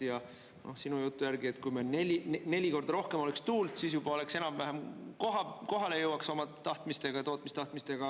Ja sinu jutu järgi, et kui meil neli korda rohkem oleks tuult, siis juba oleks enam-vähem, kohale jõuaks oma tahtmistega, tootmistahtmistega.